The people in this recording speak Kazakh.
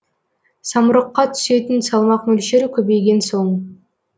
самұрыққа түсетін салмақ мөлшері көбейген соң